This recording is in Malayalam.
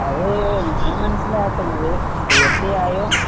അത് ഞാൻ മനസ്സിലാക്കുന്നത്‌ തീർച്ചയായും